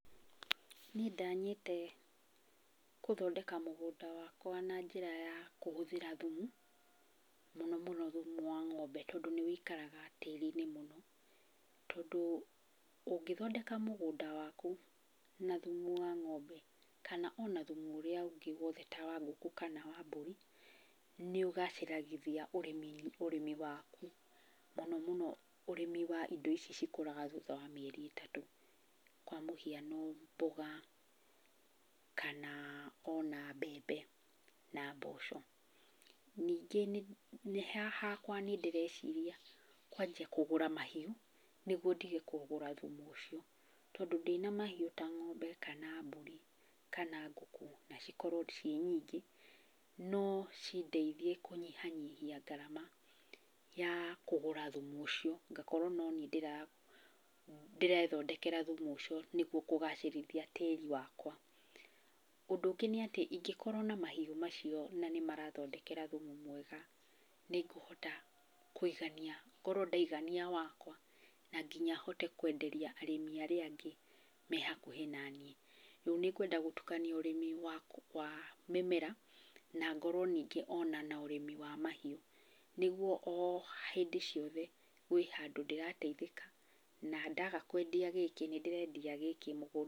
Nĩ ndanyĩte kũthondeka mũgũnda wakwa na njĩra ya kũhũthĩra thumu, mũno mũno thumu wa ng'ombe tondũ nĩ wũikaraga tĩĩri-inĩ mũno. Tondũ ũngĩthondeka mũgũnda waku na thumu wa ng'ombe kana ona thumu ũrĩa ũngĩ wothe ta wa ngũkũ kana wa mbũri nĩ ũgacĩragithia ũrĩmi waku. Mũno mũno ũrĩmi wa indo ici cikũraga thutha wa mĩeri ĩtatũ. Kwa mũhiano mboga kana ona mbembe na mboco. Nĩngĩ nĩ, hakwa nĩ ndĩreciria kwanjia kũgũra mahiũ nĩguo ndige kũgũra thumu ũcio. Tondũ ndĩna mahiũ ta ng'ombe, kana mbũri, kana ngũkũ, na cikorwo ciĩ nyingĩ no cindeithie kũnyihanyihia ngarama ya kũgũra thumu ũcio. Ngakorwo no niĩ ndĩrethondekera thumu ũcio nĩguo kũgacĩrithia tĩri wakwa. Ũndũ ũngĩ nĩ atĩ ingĩkorwo na mahiũ macio na nĩmarathondekera thumu mwega, nĩ ngũhota kũigania, ngorwo ndaigania wakwa, na nginya hote kwenderia arĩmi arĩa angĩ me hakuhĩ naniĩ. Rĩu nĩ ngwenda gũtukania ũrĩmi wa mĩmera na ngorwo ningĩ ona na ũrĩmi wa mahiũ nĩguo o hĩndĩ ciothe kwĩ handũ ndĩrateithĩka. Na ndaga kwendia gĩkĩ nĩ ndĩrendia gĩkĩ mũgũnda-inĩ.